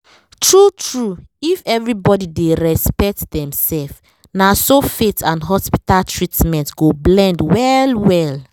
true-true if everybody dey respect dem self na so faith and hospital treatment go blend well well